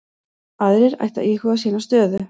Aðrir ættu að íhuga sína stöðu